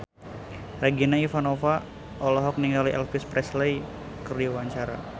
Regina Ivanova olohok ningali Elvis Presley keur diwawancara